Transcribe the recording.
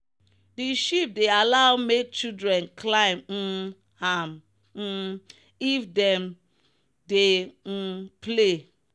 the sheep dey allow make children climb um am um if them dey um play.